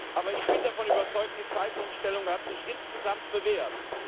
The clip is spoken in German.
Aber ich bin davon überzeugt Die Zeitumstellung hat sich insgesamt bewährt.